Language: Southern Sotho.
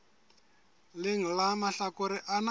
leng la mahlakore ana a